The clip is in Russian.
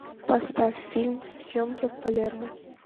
поставь фильм съемки в палермо